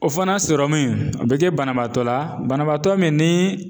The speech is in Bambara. O fɛnɛ sɔrɔmu in o be kɛ banabaatɔ la banabaatɔ min ni